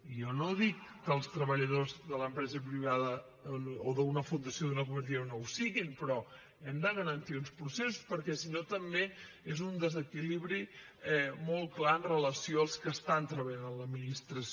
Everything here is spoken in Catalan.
jo no dic que els treballadors de l’empresa privada o d’una fundació o d’una cooperativa no ho siguin però hem de garantir uns processos perquè si no també és un desequilibri molt clar amb relació als que estan treballant a l’administració